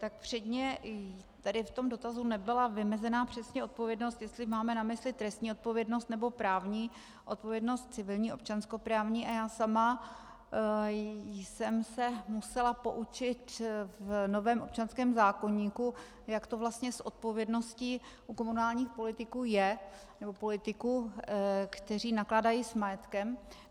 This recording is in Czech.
Tak předně tady v tom dotazu nebyla vymezena přesně odpovědnost, jestli máme na mysli trestní odpovědnost, nebo právní odpovědnost civilní občanskoprávní, a já sama jsem se musela poučit v novém občanském zákoníku, jak to vlastně s odpovědností u komunálních politiků je, nebo politiků, kteří nakládají s majetkem.